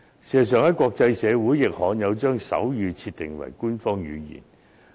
事實上，在國際社會中，亦罕有將手語設定為官方語言。